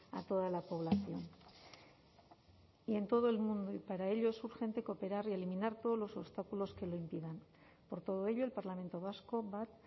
a toda la población y en todo el mundo y para ello es urgente cooperar y eliminar todos los obstáculos que lo impidan por todo ello el parlamento vasco bat